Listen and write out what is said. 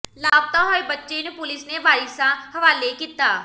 ਲਾਪਤਾ ਹੋਏ ਬੱਚੇ ਨੰੂ ਪੁਲਿਸ ਨੇ ਵਾਰਿਸਾਂ ਹਵਾਲੇ ਕੀਤਾ